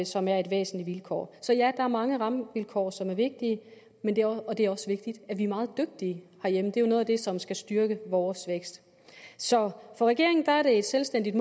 som er et væsentligt vilkår så ja der er mange rammevilkår som er vigtige og det er også vigtigt at vi er meget dygtige herhjemme det er jo noget af det som skal styrke vores vækst så for regeringen er det et selvstændigt